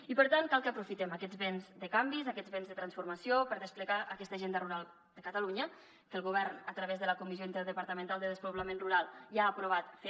i per tant cal que aprofitem aquests vents de canvis aquests vents de transformació per desplegar aquesta agenda rural de catalunya que el govern a través de la comissió interdepartamental sobre despoblament rural ja ha aprovat fer